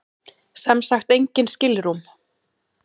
Sem sagt engin skilrúm.